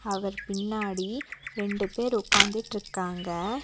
அவர் பின்னாடி ரெண்டு பேர் உக்காந்துட்டிருக்காங்க.